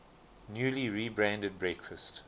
newly rebranded breakfast